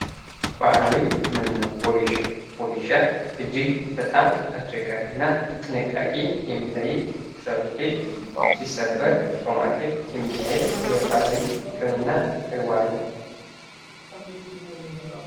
ባህላዊ ህክምና፦ ወጌሻ፦ ወጌሻ እጅግ በጣም አስቸጋሪ እና ጥንቃቄ የሚጠይቅ የሰውን ልጅ ሲሰበር በማሸት የሚካሄድ የባህላዊ ህክምና ተግባር ነው።